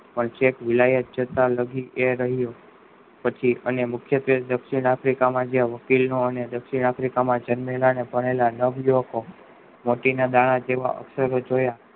પણ ચેક લાયું ચેકતા લાગી એ રહ્યું પછી અને મુખ્ય જે દક્ષીણ આફ્રિકા માં જે વકીલ નું અને એ જે દક્ષીણ આફ્રિકા માં જન્મેલા અને ભણેલા નવ યુવકો વર્કી ના દાણા જેવા અક્ષરો જોયા